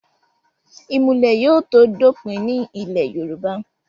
ìmùlẹ̀ yóò tó dópin ní ilẹ̀ yorùbá